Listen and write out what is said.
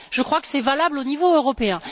Je crois que c'est valable au niveau européen.